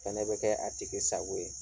Fɛnɛ be kɛ a tigi sago ye